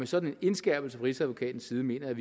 sådan en indskærpelse fra rigsadvokatens side mener jeg